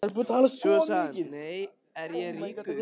Svo sagði hann: Nú er ég ríkur.